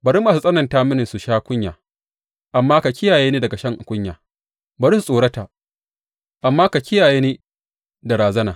Bari masu tsananta mini su sha kunya, amma ka kiyaye ni daga shan kunya; bari su tsorata, amma ka kiyaye ni da razana.